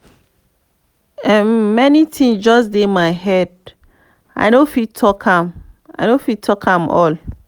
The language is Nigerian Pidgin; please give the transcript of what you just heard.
many things just dey my head i no fit talk am talk am all.